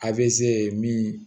A bɛ se min